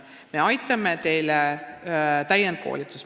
Me aitame teid täienduskoolitusega.